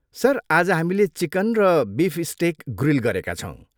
Sir, आज हामीले chicken र बिफ स्टेक ग्रिल गरेका छौँ।